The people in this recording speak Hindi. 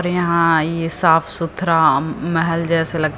यहां ये साफ सुथरा अ महल जैसे लगता--